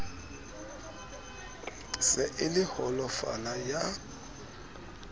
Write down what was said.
se e le holofala ya